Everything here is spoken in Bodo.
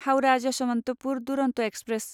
हाउरा यशवन्तपुर दुरन्त एक्सप्रेस